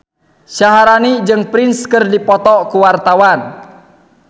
Syaharani jeung Prince keur dipoto ku wartawan